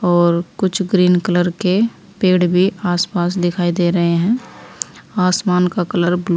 और कुछ green colour के पेड़ भी आसपास दिखाई दे रहे हैं आसमान का कलर ब्लू --